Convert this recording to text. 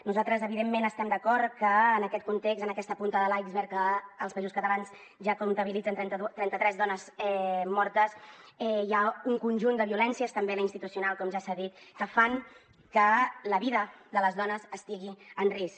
nosaltres evidentment estem d’acord que en aquest context en aquesta punta de l’iceberg en què els països catalans ja comptabilitzen trenta tres dones mortes hi ha un conjunt de violències també la institucional com ja s’ha dit que fan que la vida de les dones estigui en risc